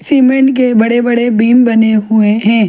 Cement के बड़े बड़े बीम बने हुए है।